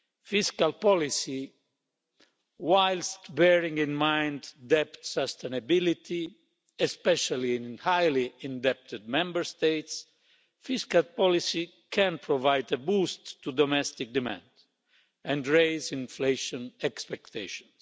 Fiscal policy, whilst bearing in mind debt sustainability, especially in highly indebted Member States, can provide a boost to domestic demand and raise inflation expectations.